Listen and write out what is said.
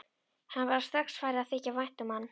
Henni var strax farið að þykja vænt um hann.